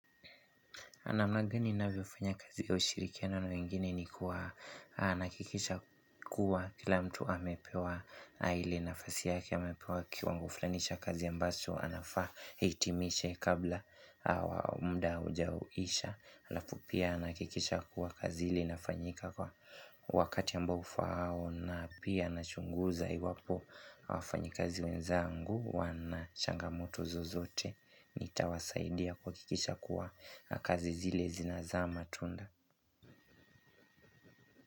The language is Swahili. Namna gani ninavyofanya kazi ya ushirikiano na wengine ni kuwa nahakikisha kuwa kila mtu amepewa ile nafasi yake amepewa kiwango fulani cha kazi ambacho, anafaa ahitimishe kabla muda ujaisha. Anafu pia nahakikisha kuwa kazi ile inafanyika kwa wakati ambao ufaao na pia nachunguza iwapo wafanyikazi wenzangu wana changamoto zozote. Nitawasaidia kuhakikisha kuwa kazi zile zinazaa matunda.